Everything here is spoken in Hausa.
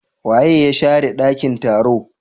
waye ya share dakin taro?